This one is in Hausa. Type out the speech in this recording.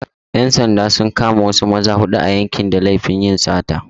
‘Yan sanda sun kama wasu maza huɗu a yankin da laifin yin sata.